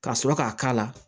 Ka sɔrɔ k'a k'a la